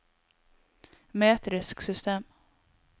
metrisk system